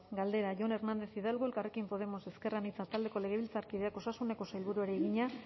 galdera jon hernández hidalgo elkarrekin podemos ezker anitza taldeko legebiltzarkideak osasuneko sailburuari egina